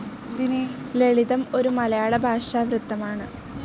ലളിതം ഒര‌ു മലയാള ഭാഷാ വൃത്തമാണ്.